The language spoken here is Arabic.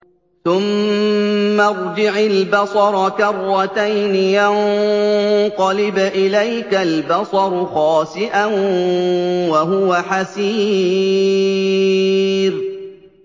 ثُمَّ ارْجِعِ الْبَصَرَ كَرَّتَيْنِ يَنقَلِبْ إِلَيْكَ الْبَصَرُ خَاسِئًا وَهُوَ حَسِيرٌ